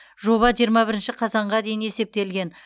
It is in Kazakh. жоба жиырма бірінші қазанға дейін есептелген